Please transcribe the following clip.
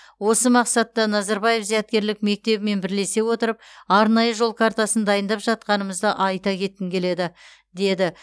осы мақсатта назарбаев зияткерлік мектебімен бірлесе отырып арнайы жол картасын дайындап жатқанымызды айта кеткім келеді деді